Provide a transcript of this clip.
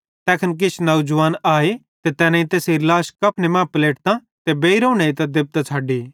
तैखन किछ नौजवान आए ते तैनेईं तैसेरी लाश कफने मां पलेटतां ते बेइरोवं नेइतां देबतां छ़डी